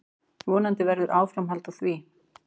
Vonandi verður áframhald á því.